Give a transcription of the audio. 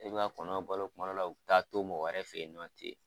E bi ka kɔnɔw balo kuma dɔ la u taa to mɔgɔ wɛrɛ fe yen nɔn